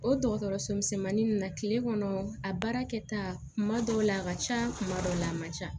O dɔgɔtɔrɔso misɛnmanin ninnu na kile kɔnɔ a baara kɛ ta kuma dɔw la a ka ca kuma dɔw la a man ca